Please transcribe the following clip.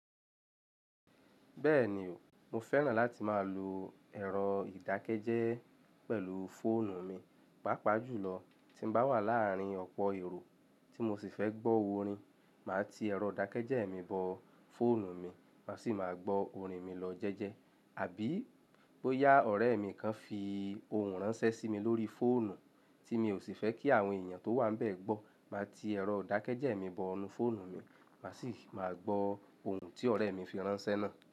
Bẹ́ẹ̀ ni, mo fẹ́ràn láti máa lo ẹ̀rọ ìdákẹ́jẹ́ẹ́ pẹ̀lú fóònù mi. Páápaa jùlọ tí n bá wà láàárin ọ̀pọ̀ èrò tí mo sì fẹ́ gbọ́ orin, màá ti ẹ̀rọ ìdákẹ́jẹ́ẹ́ mi bọ fóònù mi, màá sì máa gbọ orin mi lọ jẹ́jẹ́. Àbí bóyá ọ̀rẹ́ mi kan fi ohùn ránṣẹ́ sí mi lórí fóònù tí mi ò sì fẹ́ kí àwọn èèyàn tó wà níbẹ̀ gbọ́, màá ti ẹ̀rọ ìdákẹ́jẹ́ẹ́ mi bonu fóònù mi, màá sì máa gbọ ohùn tí ọ̀rẹ́ mi fi ránṣẹ́ náà.